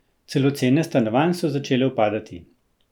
Celo cene stanovanj so začele upadati!